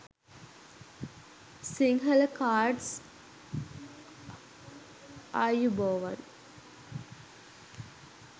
sinhala cards ayubowan